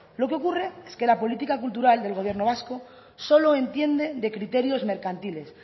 lo que ocurre es que la política cultural del gobierno vasco solo entiende de criterios mercantiles